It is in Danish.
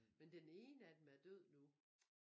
Men den ene af dem er død nu